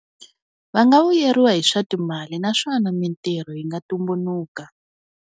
Va nga vuyeriwa hi swa timali naswona mitirho yi nga tumbuluka.